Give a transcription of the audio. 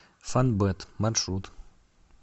фонбет маршрут